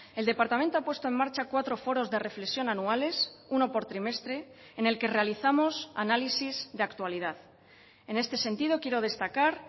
el departamento ha puesto en marcha cuatro foros de reflexión anuales uno por trimestre en el que realizamos análisis de actualidad en este sentido quiero destacar